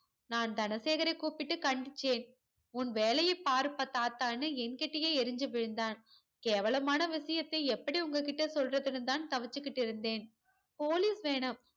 நான் தனசேகரை கூப்பிட்டு கண்டிச்சேன் உன் வேலைய பாருப்பா தாத்தானு என்கிட்டையே எரிஞ்சி விழுந்தான் கேவலமான விஷயத்தை எப்படி உங்க கிட்ட சொல்றதுனுதான் தவிச்சிக்கிட்டு இருந்தேன் police வேணாம்